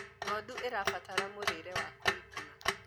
ng'ondu irabatara mũrĩre wa kũigana